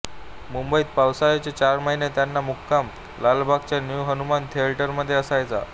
मुंबईत पावसाळ्याचे चार महिने त्यांचा मुक्काम लालबागच्या न्यू हनुमान थिएटरमध्ये असायचा